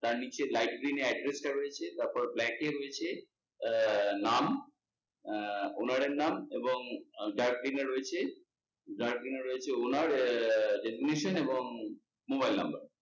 তার নিচে light green এ address টা রয়েছে, তারপর black এ রয়েছে আহ নাম আহ owner এর নাম এবং dark green এ রয়েছে dark green এ রয়েছে owner এবং mobile number